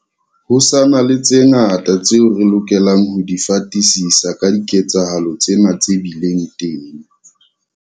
Ho sa na le tse ngata tseo re lokelang ho di fatisisa ka diketsahalo tsena tse bileng teng.